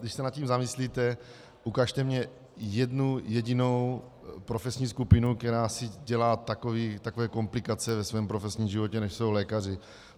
Když se nad tím zamyslíte, ukažte mně jednu jedinou profesní skupinu, která si dělá takové komplikace ve svém profesním životě, jako jsou lékaři.